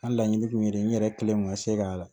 N ka laɲini tun ye n yɛrɛ kelen kun ka se ka